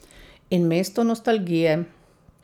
In mesto nostalgije.